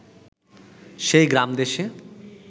সেই গ্রামদেশে